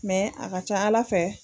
Mɛ a ka ca ala fɛ.